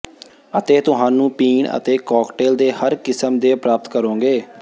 ਅਤੇ ਤੁਹਾਨੂੰ ਪੀਣ ਅਤੇ ਕਾਕਟੇਲ ਦੇ ਹਰ ਕਿਸਮ ਦੇ ਪ੍ਰਾਪਤ ਕਰੋਗੇ